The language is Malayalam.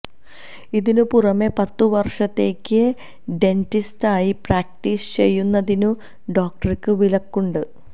ഇതിനു പുറമെ പത്തുവർഷത്തേക്ക് ഡെന്റിസ്റ്റായി പ്രാക്ടീസ് ചെയ്യുന്നതിനും ഡോക്ടർക്ക് വിലക്കുണ്ട്